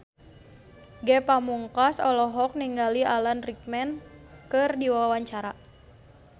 Ge Pamungkas olohok ningali Alan Rickman keur diwawancara